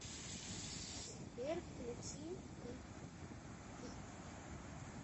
сбер включи битстикс